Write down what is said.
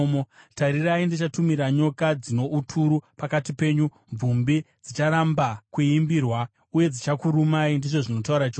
“Tarirai ndichatumira nyoka dzino uturu pakati penyu, mvumbi dzicharamba kuimbirwa, uye dzichakurumai,” ndizvo zvinotaura Jehovha.